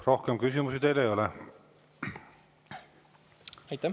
Rohkem küsimusi teile ei ole.